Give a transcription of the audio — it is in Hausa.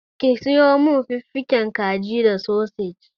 Ki sayo min fiffigen kaji da sosej.